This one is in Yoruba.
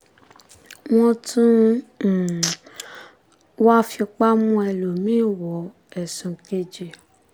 wọ́n tún wáá fipá mú ẹlòmí-ín wọ̀ ọ́ ẹ̀sùn kejì